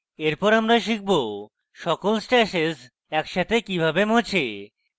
এরপর আমরা শিখব সকল stashes একসাথে কিভাবে মোছে